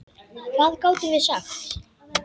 Hvað gátum við sagt?